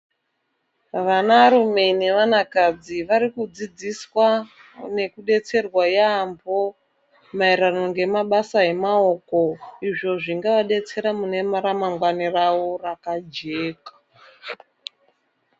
Vanarume nevanakadzi varikudzidziswa nekubetserwa yaamho maererano ngemabasa emaoko. Izvo zvinovabetsera mune ramangwani ravo rakajeka.